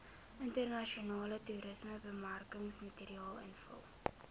internasionale toerismebemarkingsmateriaal invul